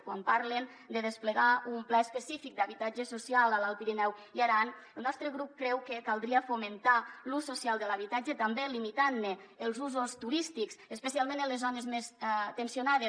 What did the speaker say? quan parlen de desplegar un pla específic d’habitatge social a l’alt pirineu i aran el nostre grup creu que caldria fomentar l’ús social de l’habitatge també limitant ne els usos turístics especialment en les zones més tensionades